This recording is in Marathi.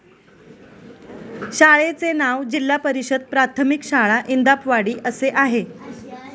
शाळेचे नाव जिल्हा परिषद प्राथमिक शाळा इंदापवाडी असे आहे.